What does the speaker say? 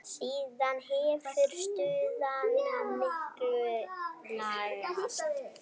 Síðan hefur staðan mikið lagast.